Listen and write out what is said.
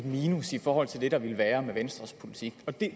minus i forhold til det der ville være med venstres politik det